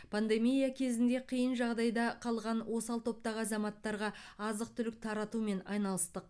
пандемия кезінде қиын жағдайда қалған осал топтағы азаматтарға азық түлік таратумен айналыстық